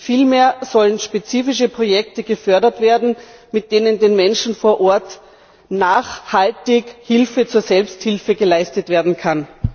Vielmehr sollen spezifische Projekte gefördert werden, mit denen den Menschen vor Ort nachhaltig Hilfe zur Selbsthilfe geleistet werden kann.